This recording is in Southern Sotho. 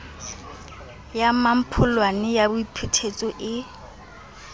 ya mmampholane ya boiphetetso e